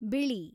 ಬಿಳಿ